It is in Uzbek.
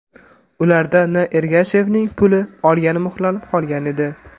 Ularda N. Ergashevning pulni olgani muhrlanib qolgan edi.